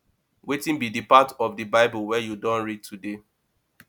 wetin be di part of di bible wey you don read today